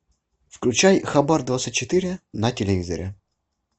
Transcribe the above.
включай хабар двадцать четыре на телевизоре